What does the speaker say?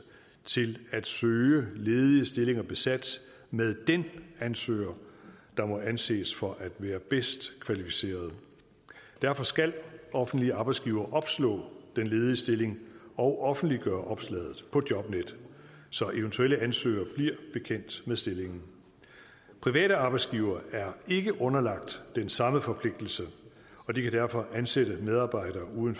til at søge ledige stillinger besat med den ansøger der må anses for at være bedst kvalificeret derfor skal offentlige arbejdsgivere opslå den ledige stilling og offentliggøre opslaget på jobnet så eventuelle ansøgere bliver bekendt med stillingen private arbejdsgivere er ikke underlagt den samme forpligtelse og de kan derfor ansætte medarbejdere uden